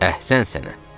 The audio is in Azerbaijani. Əhsən sənə!